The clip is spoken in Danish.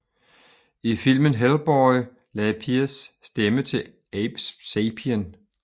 I filmen Hellboy lagde Pierce stemme til Abe Sapien